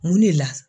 Mun de la